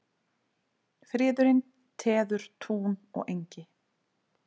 Friðurinn teður tún og engi.